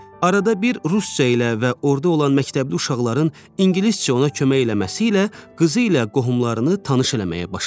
Arada bir rusca ilə və orada olan məktəbli uşaqların ingiliscə ona kömək eləməsi ilə qızı ilə qohumlarını tanış eləməyə başladı.